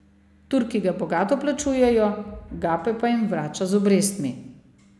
Turki ga bogato plačujejo, Gape pa jim vrača z obrestmi.